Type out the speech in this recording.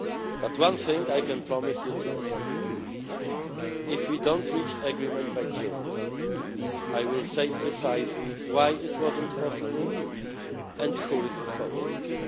But one thing I can promise you today if we do not reach agreement by June, I will say precisely why it was not possible, and who is responsible.